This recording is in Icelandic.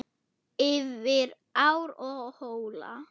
Yfir ár og hóla.